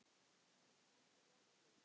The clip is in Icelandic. Magnús: Áttu von á því?